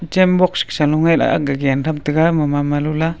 chem box gasa lu gay ma ma lu ya.